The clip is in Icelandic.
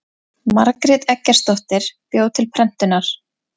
margrét eggertsdóttir bjó til prentunar